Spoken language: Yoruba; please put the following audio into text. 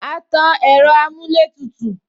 A tan ẹ̀rọ amuletutu